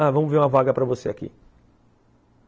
Ah, vamos ver uma vaga para você aqui.